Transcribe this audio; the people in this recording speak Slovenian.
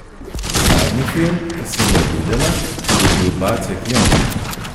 Zadnji film, ki sem ga videla, je bil Bacek Jon.